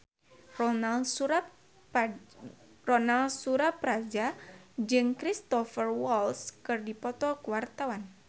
Ronal Surapradja jeung Cristhoper Waltz keur dipoto ku wartawan